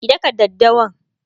ki dakka daddawan!